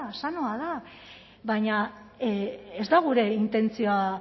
sanoa da baina ez da gure intentzioa